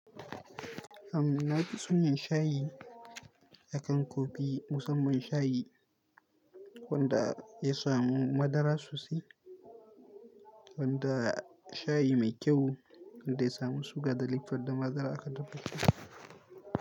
Am, na fi son yin shayi akan coffee, musamman shayi wanda ya samu madara sosai, wanda shayi mai kyau wanda ya samu suga da lipton da madara aka dafa ta.